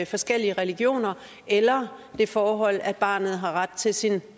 forskellige religioner eller det forhold at barnet har ret til sin